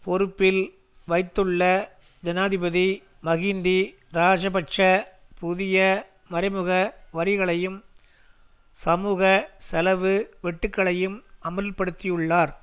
பொறுப்பில் வைத்துள்ள ஜனாதிபதி மஹிந்தி இராஜபக்ஷ புதிய மறைமுக வரிகளையும் சமூக செலவு வெட்டுக்களையும் அமுல்படுத்தியுள்ளார்